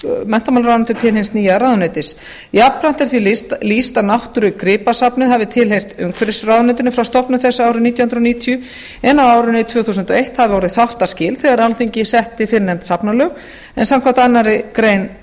menntamálaráðuneyti til hins nýja ráðuneytis jafnframt er því lýst að náttúrugripasafnið hafi tilheyrt umhverfisráðuneytinu frá stofnun þess árið nítján hundruð níutíu en á árinu tvö þúsund og eitt hafi orðið þáttaskil þegar alþingi setti fyrrnefnd safnalög en samkvæmt annarri grein